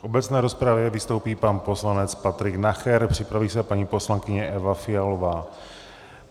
V obecné rozpravě vystoupí pan poslanec Patrik Nacher, připraví se paní poslankyně Eva Fialová.